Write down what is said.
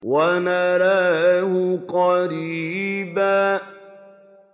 وَنَرَاهُ قَرِيبًا